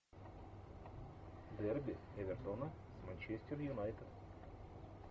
дерби эвертона с манчестер юнайтед